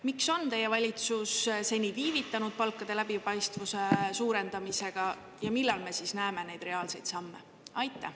Miks on teie valitsus seni viivitanud palkade läbipaistvuse suurendamisega ja millal me siis näeme neid reaalseid samme?